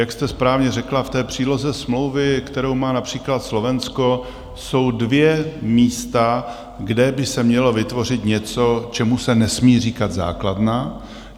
Jak jste správně řekla, v té příloze smlouvy, kterou má například Slovensko, jsou dvě místa, kde by se mělo vytvořit něco, čemu se nesmí říkat základna.